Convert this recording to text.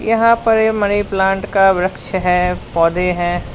यहां पर ये मनी प्लांट का वृक्ष है पौधे हैं।